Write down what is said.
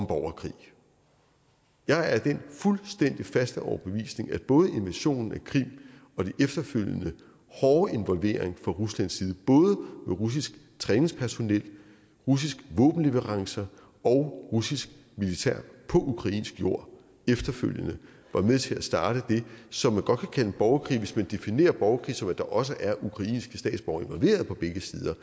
borgerkrig jeg er af den fuldstændig faste overbevisning at både invasionen i krim og den efterfølgende hårde involvering fra ruslands side både med russisk træningspersonel russiske våbenleverancer og russisk militær på ukrainsk jord var med til at starte det som man godt kan kalde en borgerkrig hvis man definerer borgerkrig som at der også er ukrainske statsborgere involveret på begge sider